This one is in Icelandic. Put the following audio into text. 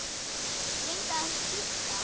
Reyndu að giska.